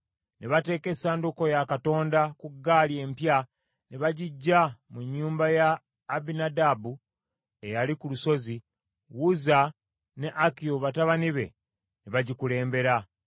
Ne bateeka essanduuko ya Katonda ku ggaali empya ne bagiggya mu nnyumba ya Abinadaabu eyali ku lusozi, Uzza ne Akiyo batabani be ne bagikulembera